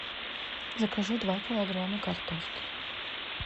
закажи два килограмма картошки